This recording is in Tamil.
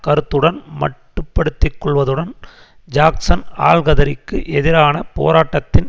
கருத்துடன் மட்டுப்படுத்திக்கொள்வதுடன் ஜாக்சன் ஆல்கதிரிக்கு எதிரான போராட்டத்தின்